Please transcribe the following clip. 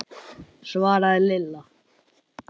svaraði Lilla.